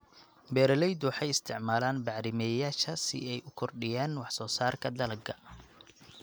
Beeraleydu waxay isticmaalaan bacrimiyeyaasha si ay u kordhiyaan wax soo saarka dalagga.